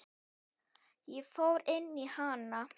Ég fór inn í hana.